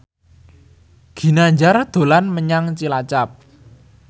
Ginanjar dolan menyang Cilacap